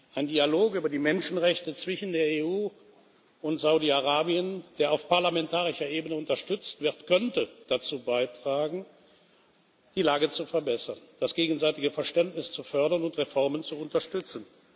Ein Dialog über die Menschenrechte zwischen der EU und Saudi Arabien, der auf parlamentarischer Ebene unterstützt wird, könnte dazu beitragen, die Lage zu verbessern, das gegenseitige Verständnis zu fördern und Reformen zu unterstützen.